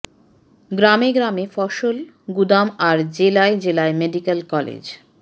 গ্রামে গ্রামে ফসল গুদাম আর জেলায় জেলায় মেডিকেল কলেজ